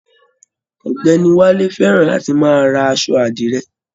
Ọ̀gbẹ́ni Wálé fẹràn láti máa rà aṣọ àdire